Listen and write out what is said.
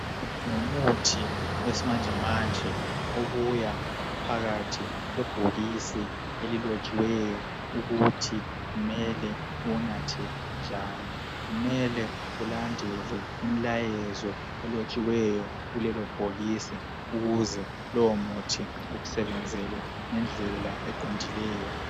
Ngumuthi wesimanjemanje obuya uphakathi kwebhokisi elilotshiweyo ukuthi kumele uwanathe njani. Kumele ulandele imilayezo elotshiweyo kulelo bhokisi ukuze lowo muthi ukusebenzele ngendlela eqondileyo.